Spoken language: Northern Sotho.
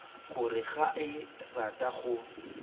gore ga a rate go